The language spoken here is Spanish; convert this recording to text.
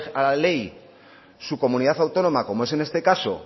a la ley su comunidad autónoma como es en este caso